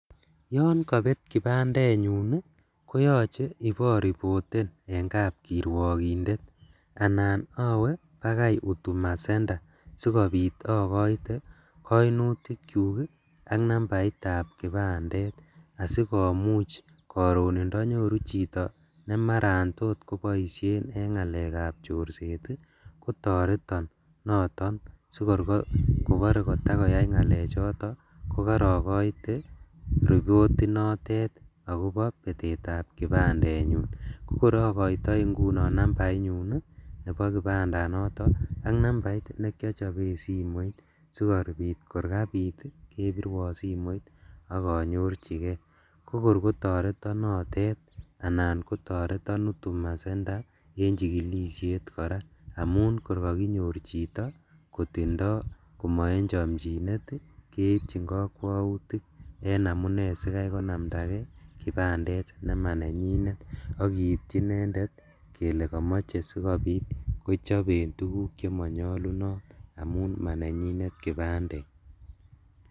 Yon kobet kipandenyun ii koyoche ibo repoten en kap kirwokindet anan owe bakai HUDUMA center sikobit okoite koinutikyuk ak nambaitab kipandet asikomuch koron indonyoru chito nemaran tot koboishen en ngalèkab chorset ii, kotoreton noto sikor kobore kotakoiyai ngalechoto kokoroikoite report inotet akobo betetab kipandenyun, kokor okoitoi ingunon nambainyun ii nebo kipandanoto ak nambait nekiochoben simoit sikobit korkabit kebiruon simoit ok onyorjigee kokor kotoreton notet anan kotoreton HUDUMA center en chikilishet koraa, amun kor kokinyor chito kotindo komoechomchinet ii keibchin kokwoutik en amune sikai konamda kipandet nemanenyinet ak kiityi inendet kele komoche sikobit kochoben tuguk chemonyolunot amun manenyitet kipandet.